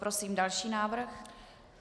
Prosím další návrh.